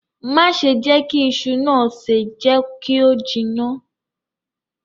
Má ṣe jẹ kí iṣu naa se, jẹ kí o jiná.